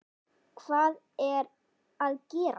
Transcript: Hvað er að gerast???